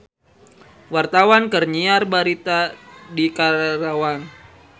Wartawan keur nyiar berita di Karawang